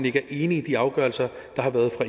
ikke enige i de afgørelser